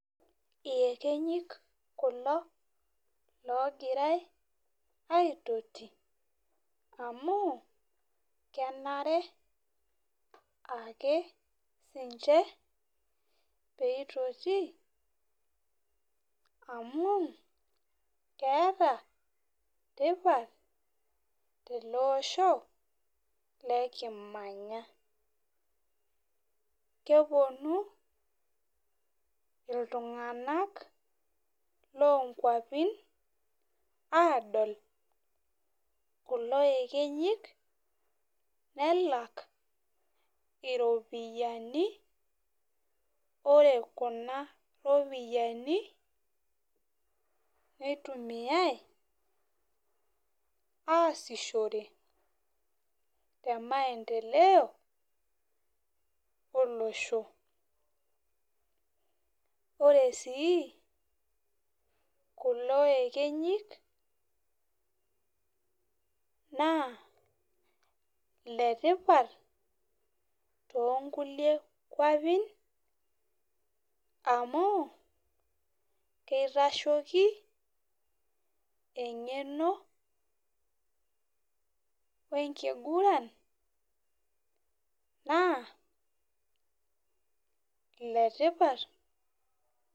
Iyekenyik kulo logira i aitoti amu kenare ake ninche peitoto amu keeta tipat teleosho likimanya keponu ltunganak lonkwapi Adol lulo ekenyik nelak iropiyiani ore kuna ropiyani nitumiai aasishore temaendeleo olosho ore si kulo ekenyik na letipat to kulie kwapi amu kitashoki engeno wenkiguran naa enetipat.